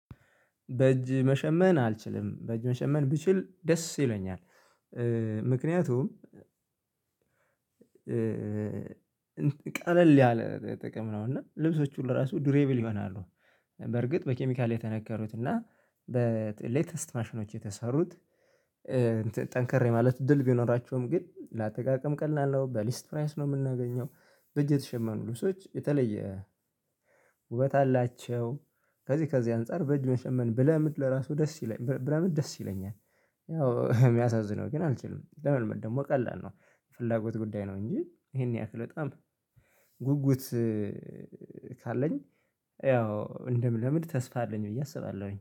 በእጅ መሸመን አልችልም በእጅ መሸመን ብችል ደስ ይለኛል፤። ምክንያቱም ቀለል ያለ ጥቅም ነው እና ልብሶች ሁሉ ራሱ ዱሬብል ይሆናሉ። በርግጥ በኬሚካል የተነከሩት እና በሌተስት ማሽኖች የተሰሩት ጠንከር የማለት እድል ቢኖራቸውም ግን ለአጠቃቀም ቀላል ነው በሊስት ፕራይስ ነው የምናገኘው። በእጅ የተሸመኑ ልብሶች የተለየ ውበት አላቸው፤። ከዚህ ከዚህ አንፃር በእጅ መሸመን ብለምድ ለራሱ ደስ ይለኛል ብለምድ ደስ ይለኛል። ያው የሚያሳዝነው ግን አልችልም ለመልመድ ደግሞ ቀላል ነው። ፍላጎት ጉዳይ ነው እንጂ ይሄን ያክል በጣም ጉጉት ካለኝ ያው እንደምለምድ ተስፋ አለኝ ብዬ አስባለሁኝ